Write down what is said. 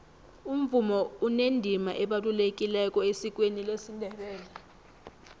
umvumo unendima ebalulekileko esikweni lesindebele